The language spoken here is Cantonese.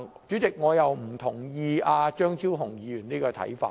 主席，我並不認同張超雄議員這種看法。